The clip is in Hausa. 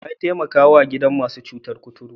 Wa ya taimakawa gidan masu cutar kuturta?